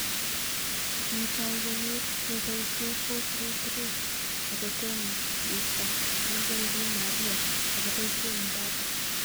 Kitoi kenyiit koboisye 4-3-3 akotosmeto Angel Di Maria akoboisye Mbappe